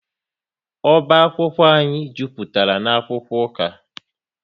Oba akwụkwọ anyị jupụtara na-akwụkwọ ụka